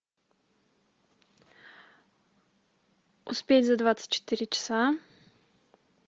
успеть за двадцать четыре часа